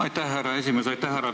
Aitäh, härra esimees!